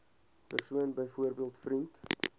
persoon byvoorbeeld vriend